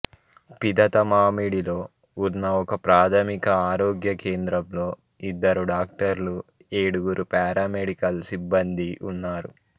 పిదతమామిడిలో ఉన్న ఒకప్రాథమిక ఆరోగ్య కేంద్రంలో ఇద్దరు డాక్టర్లు ఏడుగురు పారామెడికల్ సిబ్బందీ ఉన్నారు